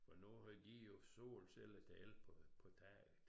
Og nu har de jo solceller til el på på taget